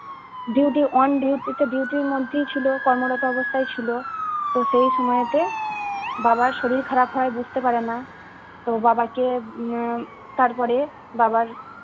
duty on duty তে duty র মধ্যেই ছিল কর্মরত অবস্থায় ছিল তো সেই সময়েতে বাবার শরীর খারাপ হয় বুঝতে পারে না তো বাবা কে উম আহ তারপরে বাবার